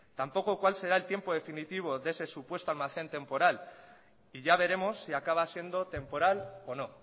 tampoco cuál será el tiempo definitivo de ese supuesto almacén temporal y ya veremos si acaba siendo temporal o no